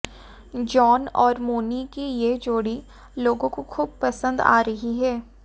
John और मोनी की यह जोड़ी लोगों को खूब पसंद आ रही है